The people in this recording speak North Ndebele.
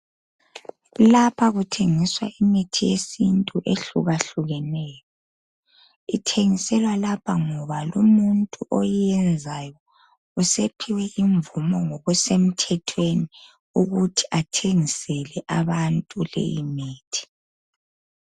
Lapha kuthengiswa imithi yesintu ehlukahlukeneyo. Ithengiselwa lapha ngoba lumuntu oyenzayo usephiwe imvumo ngokusemthethweni ukuthi athengisele bantu leyi imithi.